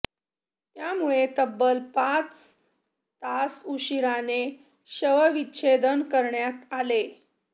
त्यामुळे तब्बल पाच तास उशिराने शवविच्छेदन करण्यात आले